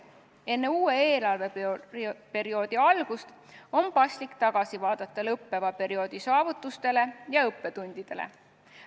Enne uue eelarveperioodi algust on paslik tagasi vaadata lõppeva perioodi saavutustele ja õppetundidele.